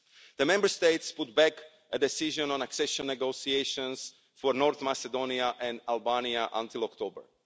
The Member States put back a decision on accession negotiations for North Macedonia and Albania until October.